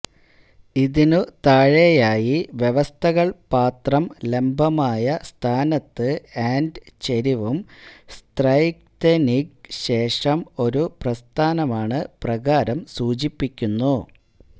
ഇതിനു താഴെയായി വ്യവസ്ഥകൾ പാത്രം ലംബമായ സ്ഥാനത്ത് ആൻഡ് ചെരിവും സ്ത്രൈഘ്തെനിന്ഗ് ശേഷം ഒരു പ്രസ്ഥാനമാണ് പ്രകാരം സൂചിപ്പിക്കുന്നു